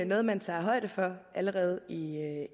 noget man tager højde for allerede i